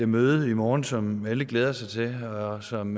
møde i morgen som alle glæder sig til og som